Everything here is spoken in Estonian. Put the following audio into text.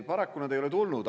Paraku ei ole neid tulnud.